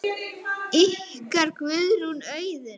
Skál, lagsi, sjáumst efra.